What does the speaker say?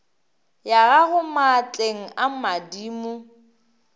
ya gago maatleng a madimo